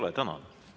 Aitäh!